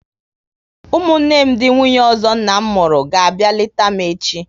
Ụmụnne m ndị nwunye ọzọ nna m mụrụ ga abịa leta m echi